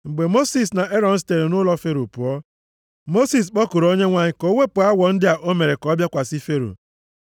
Mgbe Mosis na Erọn sitere nʼụlọ Fero pụọ, Mosis kpọkuru Onyenwe anyị ka o wepụ awọ ndị a o mere ka ha bịakwasị Fero.